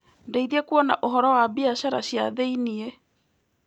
Ndeithia kuona ũhoro wa biacara cia thĩiniĩ.